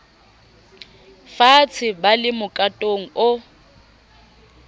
faatshe ba le mokatong o